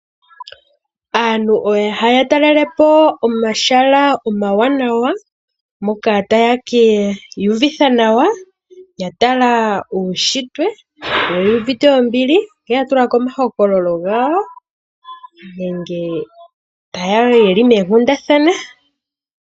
Aantu ohaya talelepo omahala omawanawa, moka taya ka ivutha nawa ya tala uushitwe, yo oyu uvite ombili, yo ya tulako omahokololo gawo nenge yeli moonkundathana.